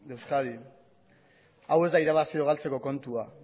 de euskadi hau ez da irabazi edo galtzeko kontua